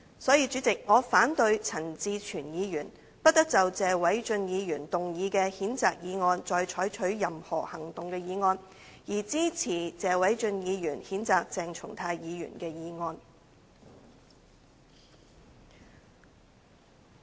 所以，代理主席，我反對陳志全議員"不得就謝偉俊議員動議的譴責議案再採取任何行動"的議案，而支持謝偉俊議員譴責鄭松泰議員的議案。